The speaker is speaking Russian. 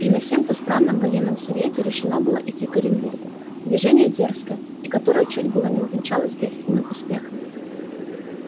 и на сем-то странном военном совете решено было идти к оренбургу движение дерзкое и которое чуть было не увенчалось бедственным успехом